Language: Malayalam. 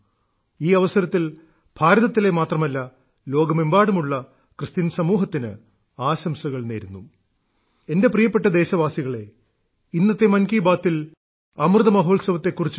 ഛി വേശ െവീഹ്യ മിറ മൌുെശരശീൌ െീരരമശെീി ക ഴൃലല േിീ േീിഹ്യ വേല ഇവൃശേെശമി ഇീാാൌിശ്യേ ശി കിറശമ യൌ േമഹീെ ഇവൃശേെശമി െഴഹീയമഹഹ്യ ഈയവസരത്തിൽ ഭാരതത്തിലെ മാത്രമല്ല ലോകമെമ്പാടുമുള്ള ക്രിസ്ത്യൻ സമൂഹത്തിന് ആശംസകൾ നേരുന്നു